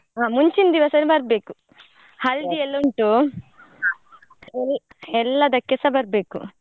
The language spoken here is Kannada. ಹಾ ಮುಂಚಿನ್ ದಿವ್ಸನೇ ಬರ್ಬೇಕು. हल्दी ಎಲ್ಲ ಉಂಟು non human vocal ಎಲ್~ ಎಲ್ಲದಕ್ಕೆಸ ಬರ್ಬೇಕು.